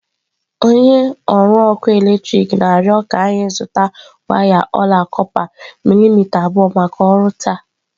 Onye ọrụ ọkụ eletrik na-arịọ ka anyị zụta waya ọla kọpa milimita abụọ maka ọrụ taa.